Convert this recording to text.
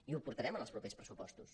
i ho portarem en els propers pressupostos